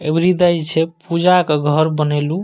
अबरी देई छे पूजा के घर बनैलु।